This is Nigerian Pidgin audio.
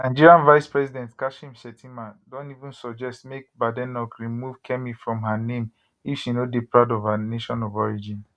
nigerian vicepresident kashim shettima don even suggest make badenoch remove kemi from her name if she no dey proud of her nation of origin